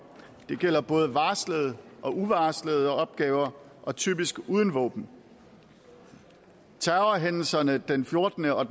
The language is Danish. det gælder både varslede og uvarslede opgaver og typisk uden våben terrorhændelserne den fjortende og